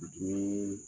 Dumuni